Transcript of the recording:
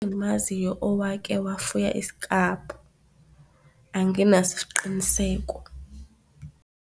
Engimaziyo owake wafuya isiklabhu anginaso isiqiniseko.